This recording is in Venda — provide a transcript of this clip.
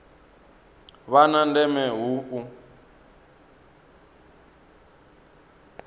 vha na ndeme hu u